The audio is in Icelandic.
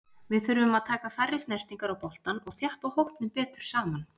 Við þurfum að taka færri snertingar á boltann og þjappa hópnum betur saman.